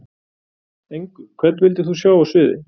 Engu Hvern vildir þú sjá á sviði?